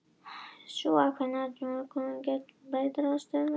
Sú aukavinna, knúin áfram af efnaorku göngugarpsins, breytir þá stöðuorku steinsins.